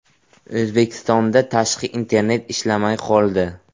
O‘zbekistonda tashqi internet ishlamay qoldi.